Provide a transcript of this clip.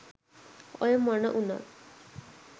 ඔය මොන උනත්